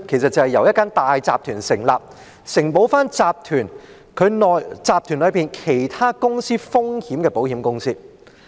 那是由一間大集團成立，承保該集團內其他公司風險的保險公司。